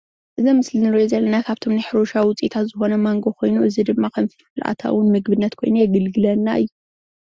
እዚ ምስሊ እንሪኦ ዘለና ካብቶም ናይ ሕርሻ ውፅኢታዊ ማንጎ ኮይኑ እዚ ድማ ከም ፍልፍል ንኣታዊ ምግብነት የገልግለና እዩ፡፡